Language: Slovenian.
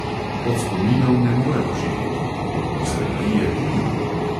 Od spominov ne moremo živeti, od nostalgije tudi ne.